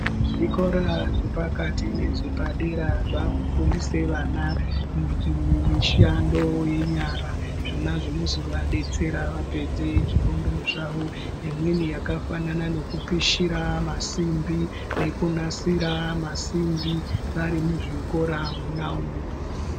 Zvikora zvepakati, nezvepadera zvaakufundise vana imwe mishando yenyara zvinozovadetseravapedze zvifundo zvavo. Imweni yakafanana neku pushira masimbi nekunasira masimbi varimuzvikora munaumu.